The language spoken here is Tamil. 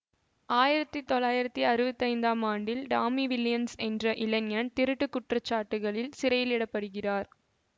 ஆயிரத்தி தொள்ளாயிரத்தி அறுவத்தைந்தாம் ஆண்டில் டாமி வில்லியம்ஸ் என்ற இளைஞன் திருட்டுக் குற்றச்சாட்டுகளில் சிறையிலிடப்படுகிறார்